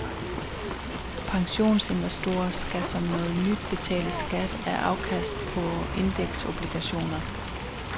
Pensionsinvestorer skal som noget nyt betale skat af afkastet på indeksobligationer.